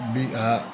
Bi a